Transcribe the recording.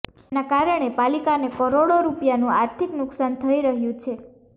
જેના કારણે પાલિકાને કરોડો રૂપિયાનું આર્થિક નુકશાન થઇ રહ્યું છે